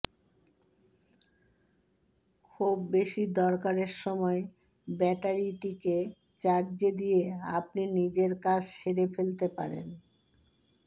খুব বেশি দরকারের সময় ব্যাটারিটিকে চার্জে দিয়ে আপনি নিজের কাজ সেরে ফেলতে পারেন